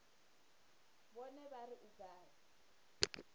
vhone vha ri u gala